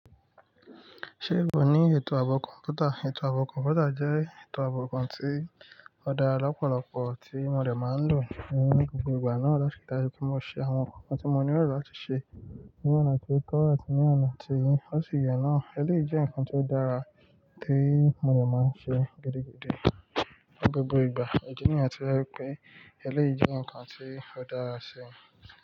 Ṣé ìwọ́ ní ètò ààbò kọ̀mpútà? Ètò ààbò kọ̀mpútà jẹ́ ètò ààbò kan tí ó dára lọ́pọ̀lọpọ̀ tí mo dẹ̀ máa ń lò ní gbogbo ìgbà náà láti ri dájú pé mo ṣe àwọn nǹkan tí mo nílò lá ti ṣe ní ọ̀nà tó tọ́ àti ní ọ̀nà tí ó sì yẹ náà. Eléyìí jẹ́ ǹkan tí ó dára tí mo rẹ̀ máa ń ṣe gidi gidi ní gbogbo ìgbà ìdí níyẹn tí wón ń pe eléyìí jẹ́ ǹkan tí ó dára sí.